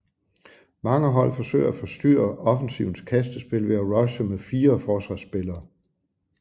Mange hold forsøger at forstyrre offensivens kastespil ved at rushe med fire forsvarsspillere